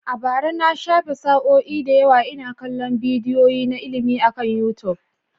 A bara, na shafe sa'o'i da yawa ina kallon bidiyoyi na ilimi akan YouTube.